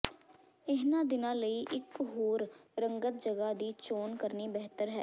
ਇਨ੍ਹਾਂ ਦਿਨਾਂ ਲਈ ਇੱਕ ਹੋਰ ਰੰਗਤ ਜਗ੍ਹਾ ਦੀ ਚੋਣ ਕਰਨੀ ਬਿਹਤਰ ਹੈ